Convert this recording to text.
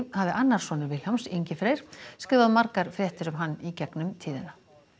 hafi annar sonur Vilhjálms Ingi Freyr skrifað margar fréttir um hann í gegnum tíðina